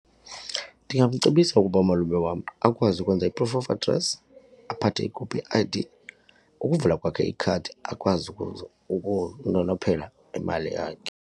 Ndingamcebisa ukuba umalume wam akwazi ukwenza i-proof of address, aphathe ikopi ye-I_D. Ukuvula kwakhe ikhadi akwazi ukunonophela imali yakhe.